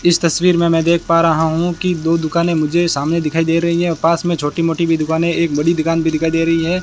इस तस्वीर में मैं देख पा रहा हूं कि दो दुकाने मुझे सामने दिखाई दे रही है पास में छोटी मोटी भी दुकाने एक बड़ी दुकान भी दिखाई दे रही है।